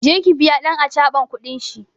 Je ki biya ɗan acaban kudin shi!